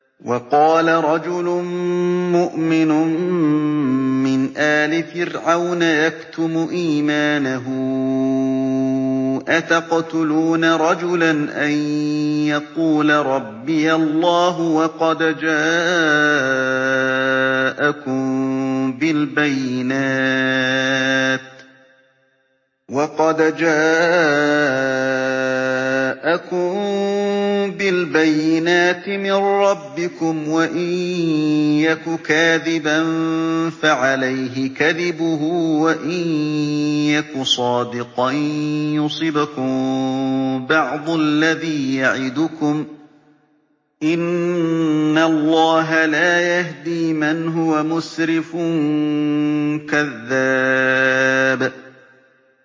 وَقَالَ رَجُلٌ مُّؤْمِنٌ مِّنْ آلِ فِرْعَوْنَ يَكْتُمُ إِيمَانَهُ أَتَقْتُلُونَ رَجُلًا أَن يَقُولَ رَبِّيَ اللَّهُ وَقَدْ جَاءَكُم بِالْبَيِّنَاتِ مِن رَّبِّكُمْ ۖ وَإِن يَكُ كَاذِبًا فَعَلَيْهِ كَذِبُهُ ۖ وَإِن يَكُ صَادِقًا يُصِبْكُم بَعْضُ الَّذِي يَعِدُكُمْ ۖ إِنَّ اللَّهَ لَا يَهْدِي مَنْ هُوَ مُسْرِفٌ كَذَّابٌ